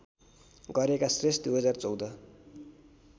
गरेका श्रेष्ठ २०१४